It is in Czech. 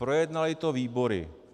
Projednaly to výbory.